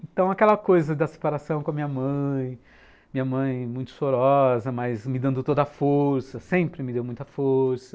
Então, aquela coisa da separação com a minha mãe, minha mãe muito chorosa, mas me dando toda a força, sempre me deu muita força.